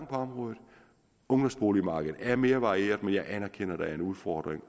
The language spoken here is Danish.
på området ungdomsboligmarkedet er blevet mere varieret men jeg anerkender at der er en udfordring